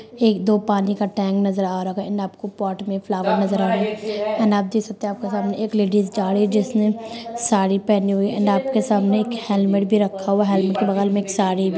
एक दो पानी का टैंक नजर आ रहा होगा एण्ड आपको पॉट में फ्लावर नजर आ रहा होगा एण्ड आप देख सकते है आपके सामने एक लेडिज जा रही है जिसने साड़ी पेहनी हुई है एण्ड आपके सामने एक हेलमेट भी रखा हुआ है हेलमेट के बगल मे एक साड़ी --